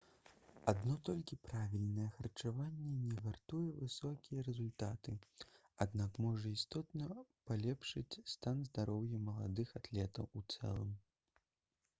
адно толькі правільнае харчаванне не гарантуе высокія рэзультаты аднак можа істотна палепшыць стан здароўя маладых атлетаў у цэлым